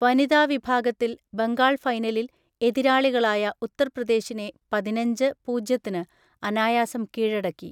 വനിതാ വിഭാഗത്തിൽ ബംഗാൾ ഫൈനലിൽ എതിരാളികളായ ഉത്തർപ്രദേശിനെ പതിനഞ്ച്, പൂജ്യത്തിന് അനായാസം കീഴടക്കി.